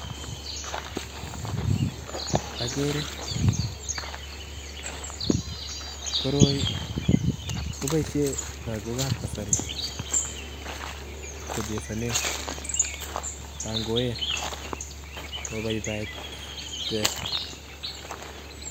Agere koroi kobaishen logok ab kasaritongoen kobabaiitke